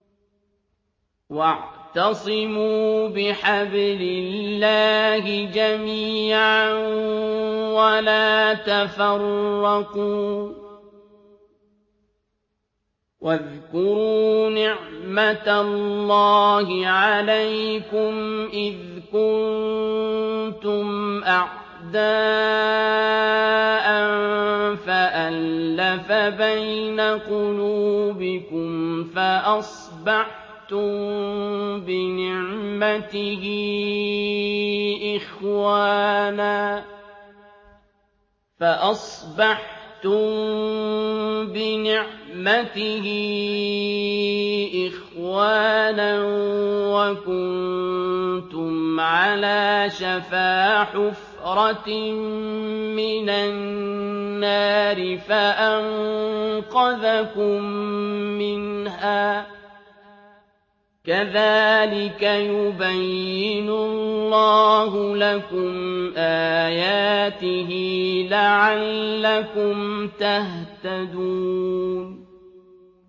وَاعْتَصِمُوا بِحَبْلِ اللَّهِ جَمِيعًا وَلَا تَفَرَّقُوا ۚ وَاذْكُرُوا نِعْمَتَ اللَّهِ عَلَيْكُمْ إِذْ كُنتُمْ أَعْدَاءً فَأَلَّفَ بَيْنَ قُلُوبِكُمْ فَأَصْبَحْتُم بِنِعْمَتِهِ إِخْوَانًا وَكُنتُمْ عَلَىٰ شَفَا حُفْرَةٍ مِّنَ النَّارِ فَأَنقَذَكُم مِّنْهَا ۗ كَذَٰلِكَ يُبَيِّنُ اللَّهُ لَكُمْ آيَاتِهِ لَعَلَّكُمْ تَهْتَدُونَ